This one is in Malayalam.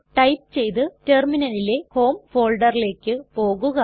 ടൈപ്പ് ചെയ്തു റ്റെർമിനലിലെ ഹോം folderലേക്ക് പോകുക